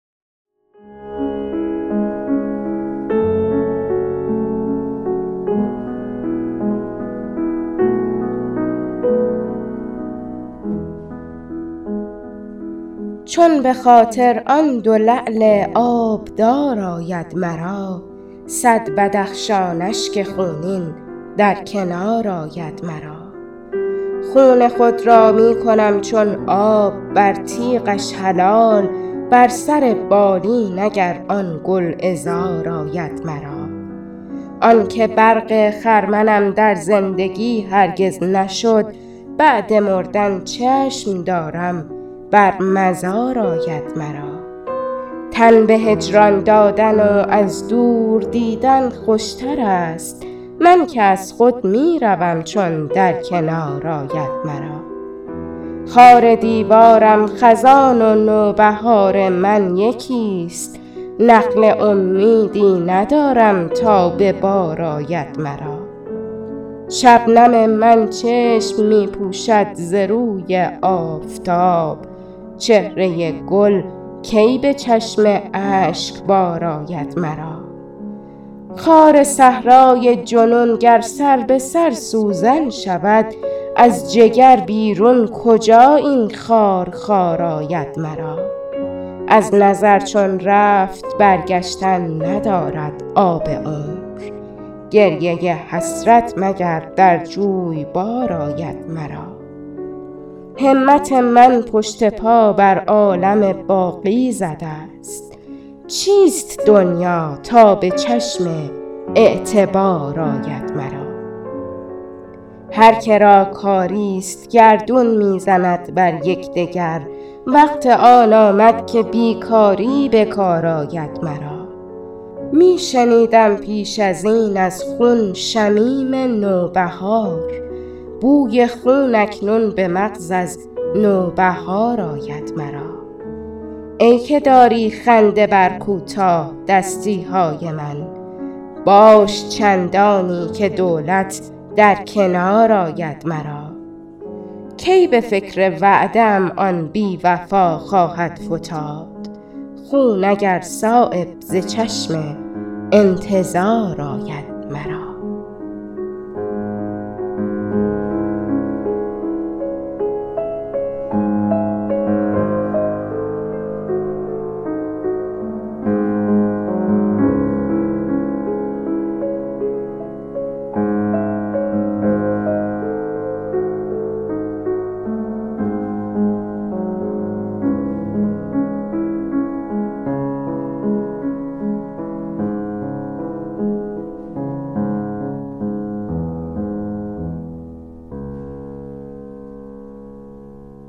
چون به خاطر آن دو لعل آبدار آید مرا صد بدخشان اشک خونین در کنار آید مرا خون خود را می کنم چون آب بر تیغش حلال بر سر بالین اگر آن گلعذار آید مرا آن که برق خرمنم در زندگی هرگز نشد بعد مردن چشم دارم بر مزار آید مرا تن به هجران دادن و از دور دیدن خوشترست من که از خود می روم چون در کنار آید مرا خار دیوارم خزان و نوبهار من یکی است نخل امیدی ندارم تا به بار آید مرا شبنم من چشم می پوشد ز روی آفتاب چهره گل کی به چشم اشکبار آید مرا خار صحرای جنون گر سر بسر سوزن شود از جگر بیرون کجا این خار خار آید مرا از نظر چون رفت برگشتن ندارد آب عمر گریه حسرت مگر در جویبار آید مرا همت من پشت پا بر عالم باقی زده است چیست دنیا تا به چشم اعتبار آید مرا هر که را کاری است گردون می زند بر یکدگر وقت آن آمد که بیکاری به کار آید مرا می شنیدم پیش ازین از خون شمیم نوبهار بوی خون اکنون به مغز از نوبهار آید مرا ای که داری خنده بر کوتاه دستی های من باش چندانی که دولت در کنار آید مرا کی به فکر وعده ام آن بی وفا خواهد فتاد خون اگر صایب ز چشم انتظار آید مرا